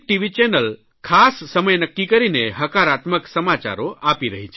channel ખાસ સમય નક્કી કરીને હકારાત્મક સમાચાર આપી રહી છે